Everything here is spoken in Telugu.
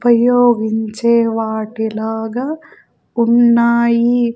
ఉపయోగించే వాటిలాగా ఉన్నాయి.